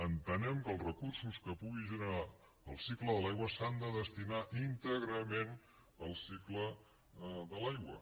entenem que els recursos que pugi generar el cicle de l’aigua s’han de destinar íntegrament al cicle de l’aigua